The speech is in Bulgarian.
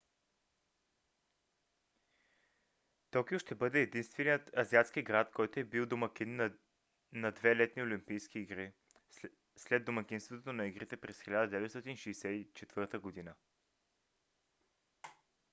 токио ще бъде единственият азиатски град който е бил домакин на две летни олимпийски игри след домакинството на игрите през 1964 г